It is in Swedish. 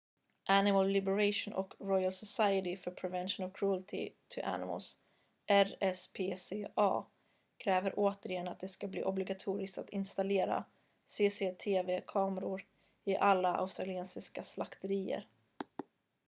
animal liberation och royal society for the prevention of cruelty to animals rspca kräver återigen att det ska bli obligatoriskt att installera cctv-kameror i alla australiensiska slakterier